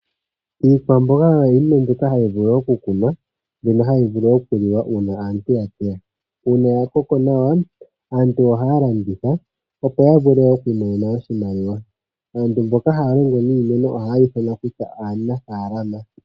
Iikwamboga oyo iinima mbyoka hayi vulu okukunwa, mbyono hayi vulu okuliwa uuna aantu yateya. Uuna yakoko nawa, aantu ohaya landitha, opo ya vule okwiimonena oshimaliwa. Aantu mboka haya longo niimaliwa ohaya ithanwa kutya aanafalama.